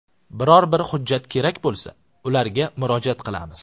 Biror bir hujjat kerak bo‘lsa, ularga murojaat qilamiz.